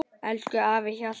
Elsku afi Hjalli.